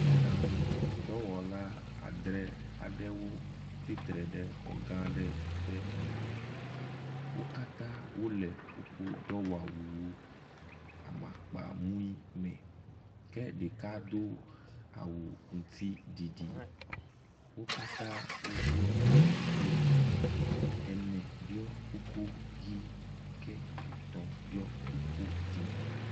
Mɔɖaŋu dɔwɔla adrẽ aɖewo tsi tre ɖe xɔ gã aɖe ƒe ŋkume. Wo katã wole woƒe dɔwɔwu amakpawo me. Ke ɖeka do awu ŋutsiɖiɖi. Wo katã woɖiɔ kuku, ene ɖiɔ kuku ʋi ke etɔ̃ ɖiɔ kuku dzẽ.